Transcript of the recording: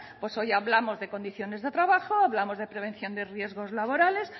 pues oye hablamos de condiciones de trabajo hablamos de prevención de riesgos laborales